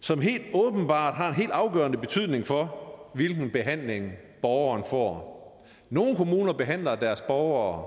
som helt åbenbart har en afgørende betydning for hvilken behandling borgeren får nogle kommuner behandler deres borgere